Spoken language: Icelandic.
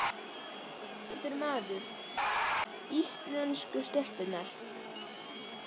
Ónafngreindur maður: Íslensku stelpurnar?